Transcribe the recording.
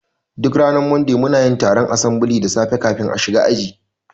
Duk ranar Monday munayin taron asambili da safe kafin a shiga aji